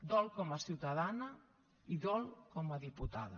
dol com a ciutadana i dol com a diputada